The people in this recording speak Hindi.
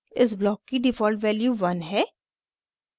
इस ब्लॉक की डिफ़ॉल्ट वैल्यू 1 है